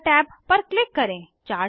दाता टैब पर क्लिक करें